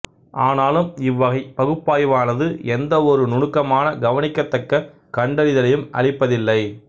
ஆனாலும் இவ்வகை பகுப்பாய்வானது எந்தவொரு நுணுக்கமான கவனிக்கத்தக்க கண்டறிதலையும் அளிப்பதில்லை